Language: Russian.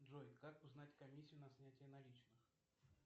джой как узнать комиссию на снятие наличных